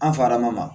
An farama